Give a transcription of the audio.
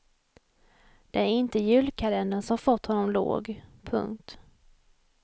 Det är inte julkalendern som fått honom låg. punkt